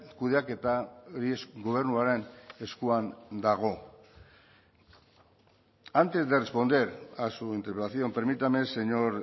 kudeaketa gobernuaren eskuan dago antes de responder a su interpelación permítame señor